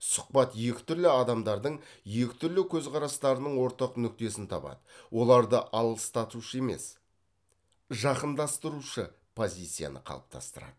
сұхбат екі түрлі адамдардың екі түрлі көзқарастарының ортақ нүктесін табады оларды алыстатушы емес жақындастырушы позицияны қалыптастырады